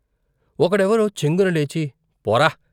ఒక డెవరో చెంగున లేచి ' పోరా!